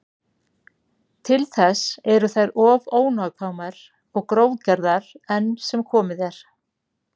Til þess eru þær of ónákvæmar og grófgerðar enn sem komið er.